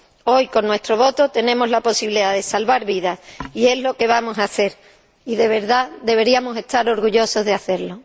Hoy con nuestro voto tenemos la posibilidad de salvar vidas y es lo que vamos a hacer y, de verdad, deberíamos estar orgullosos de hacerlo.